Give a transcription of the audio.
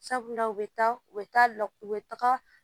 Sabula u bɛ taa u bɛ taa la u bɛ taga